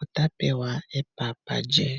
ota pewa epapa lye.